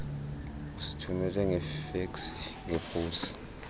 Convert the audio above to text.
usithumele ngefeksi ngeposi